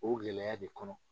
O gɛlɛya de kɔnɔ